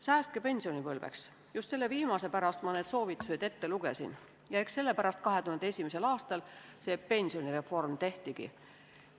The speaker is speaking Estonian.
Säästke pensionipõlveks – just selle viimase pärast ma need soovitused ette lugesin ja eks sellepärast 2001. aastal see pensionireform tehtigi.